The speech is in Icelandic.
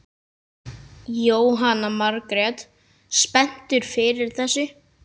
Jóhanna Margrét: Spenntur fyrir þessu?